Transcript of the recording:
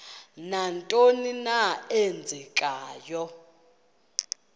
nantoni na eenzekayo